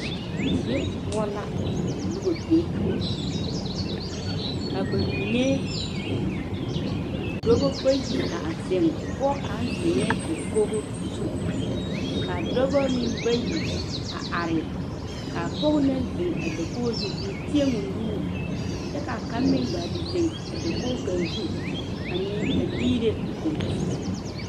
Die la ka noba be ka ba mine dɔba bayi zeŋe pɔge kaŋe zeŋe dakogo zu kaa dɔbo bayi are kaa pɔge no naŋ zeŋ a dakogo teɛ o nuuri kyɛ ka kaŋa meŋ ga te zeŋe a dakogi kaŋa zu a dera o kampeetare.